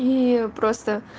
и просто